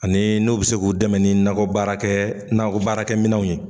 Ani n'u bɛ se k'u dɛmɛ nakɔ baara kɛ nakɔ baara kɛ minɛnw ye.